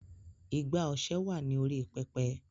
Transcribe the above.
Igbá ọṣẹ.wa ní orí "Pẹpẹ".